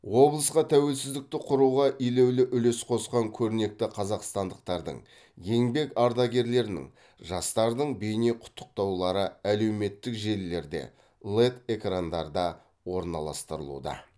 облысқа тәуелсіздікті құруға елеулі үлес қосқан көрнекі қазақстандықтардың еңбек ардагерлерінің жастардың бейнеқұттықтаулары әлеуметтік желілерде лэд экрандарда орналастырылуда